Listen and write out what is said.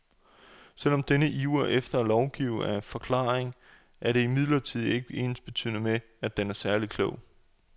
Selv om denne iver efter at lovgive er forklarlig, er det imidlertid ikke ensbetydende med, at den er særlig klog.